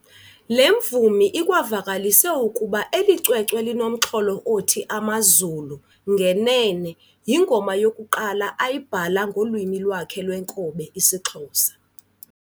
Le mvumi ikwavakalise ukuba eli cwecwe linomxholo othi "Amazulu" ngenene, yingoma yokuqala ayibhala ngolwimi lwakhe lwenkobe isiXhosa.